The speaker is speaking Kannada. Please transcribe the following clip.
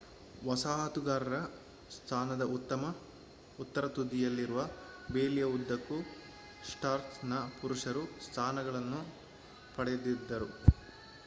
ವಸಾಹತುಗಾರರ ಸ್ಥಾನದ ಉತ್ತರ ತುದಿಯಲ್ಲಿರುವ ಬೇಲಿಯ ಉದ್ದಕ್ಕೂ ಸ್ಟಾರ್ಕ್‌ನ ಪುರುಷರು ಸ್ಥಾನಗಳನ್ನು ಪಡೆದಿದರು